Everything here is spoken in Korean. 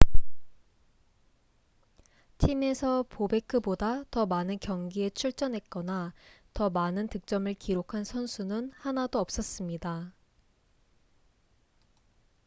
팀에서 보베크보다 더 많은 경기에 출전했거나 더 많은 득점을 기록한 선수는 하나도 없었습니다